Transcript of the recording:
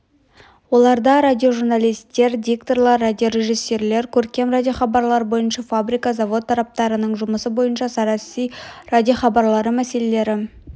оларда радиожурналистер дикторлар радиорежиссерлер көркем радиохабарлар бойынша фабрика-завод тораптарының жұмысы бойынша саяси радиохабарлары мәселелері